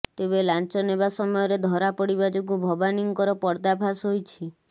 ତେବେ ଲାଞ୍ଚ ନେବା ସମୟରେ ଧରାପଡିବା ଯୋଗୁ ଭବାନୀଙ୍କର ପର୍ଦ୍ଦାଫାଶ ହୋଇଛି